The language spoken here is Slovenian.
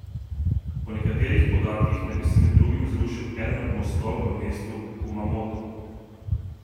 Po nekaterih podatkih naj bi se med drugim zrušil eden od mostov v mestu Kumamoto.